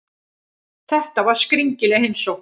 Þetta var skringileg heimsókn.